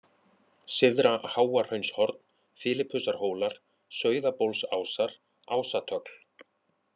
Syðra-Háahraunshorn, Filipusarhólar, Sauðabólsásar, Ásatögl